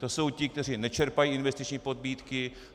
To jsou ti, kteří nečerpají investiční pobídky.